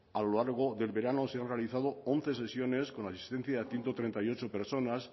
a lo largo del verano se han realizado once sesiones con asistencia de ciento treinta y ocho personas